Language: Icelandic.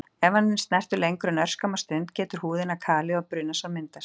Ef hann er snertur lengur en örskamma stund getur húðina kalið og brunasár myndast.